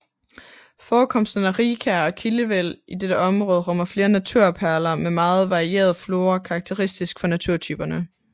Forekomsterne af rigkær og kildevæld i dette område rummer flere naturperler med meget varieret flora karakteristisk for naturtyperne